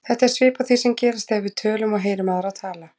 Þetta er svipað því sem gerist þegar við tölum og heyrum aðra tala.